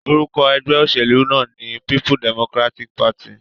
Orúkọ egbé òsèlú náà ní People Democratic Party